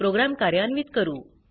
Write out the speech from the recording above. programme कार्यान्वित करू